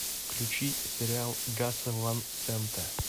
включи сериал гаса ван сента